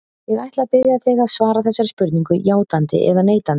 Ég ætla að biðja þig að svara þessari spurningu játandi eða neitandi.